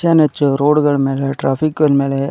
ಹೆಚ್ಚಾನು ಹೆಚ್ಚು ರೋಡ್ ಗಳ್ ಮೇಲೆ ಟ್ರಾಫಿಕ್ ಇನ್ನ ಮೇಲೆ --